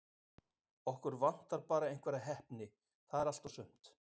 Okkur vantar bara einhverja heppni- það er allt og sumt.